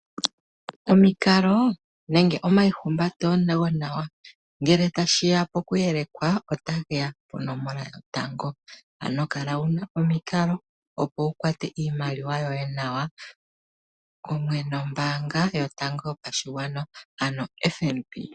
Omikalo nenge omayihumbato go nawa ngele ta shiya po kuyeleka ota geya ponomola yotango, ano kala wuna omikalo opo wu kwate iimaliwa yoye nawa kumwe nombaanga yotango yopashigwana, ano FNB.